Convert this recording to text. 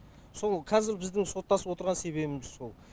сол қазір біздің соттасып отырған себебіміз сол